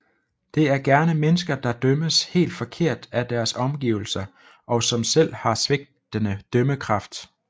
Det er gerne mennesker der dømmes helt forkert af deres omgivelser og som selv har svigtende dømmekraft